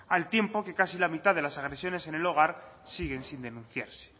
al tiempo que casi la mitad de las agresiones en el hogar siguen sin denunciarse